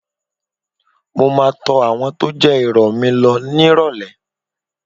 Mo máa tọ àwọn tó jẹ́ ìrọ̀ mi lọ nírọ̀lẹ́